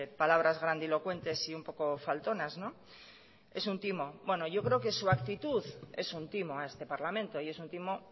palabras grandilocuentes y un poco faltonas no es un timo bueno yo creo que su actitud es un timo a este parlamento y es un timo